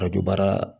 A bɛ baara